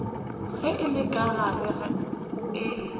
ge le ka re ge